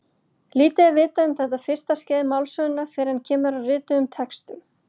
Lítið er vitað um þetta fyrsta skeið málsögunnar fyrr en kemur að rituðum textum.